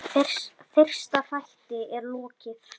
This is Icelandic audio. Fyrsta þætti er lokið.